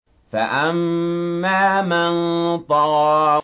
فَأَمَّا مَن طَغَىٰ